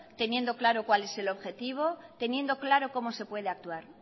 teniendo claro cuál es el objetivo teniendo claro cómo se puede actuar